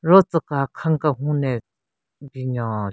Ro tsüka khan kenhun ne binyon.